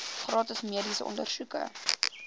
gratis mediese ondersoeke